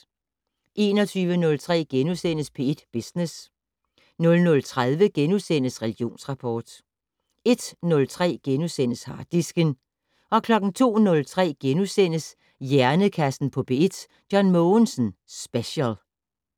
21:03: P1 Business * 00:30: Religionsrapport * 01:03: Harddisken * 02:03: Hjernekassen på P1: John Mogensen Special *